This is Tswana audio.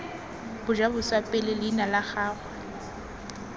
bajaboswa pele leina la gagwe